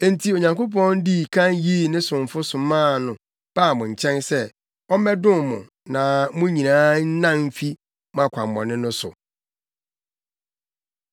Enti Onyankopɔn dii kan yii ne somfo somaa no baa mo nkyɛn sɛ ɔmmɛdom mo na mo nyinaa nnan mfi mo akwammɔne no so.”